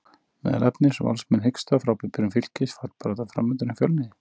Meðal efnis: Valsmenn hiksta, Frábær byrjun Fylkis, fallbarátta framundan hjá Fjölni?